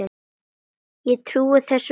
Ég trúi þessu varla.